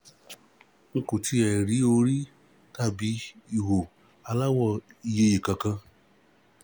N kò tiẹ̀ rí orí tàbí ihò aláwọ̀ ìyeyè kankan